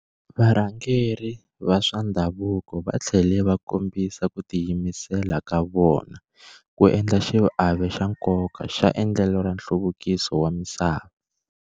Varhangeri va swa ndhavuko va tlhele va kombisa ku tiyimisela ka vona ku endla xiave xa nkoka xa endlelo ra nhluvukiso wa misava.